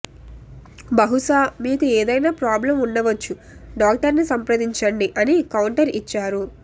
బహుశా మీకు ఏదైనా ప్రాబ్లమ్ ఉండవచ్చు డాక్టర్ ని సంప్రదించండి అని కౌంటర్ ఇచ్చారు